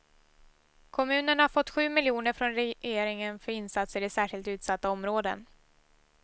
Kommunen har fått sju miljoner från regeringen för insatser i särskilt utsatta områden.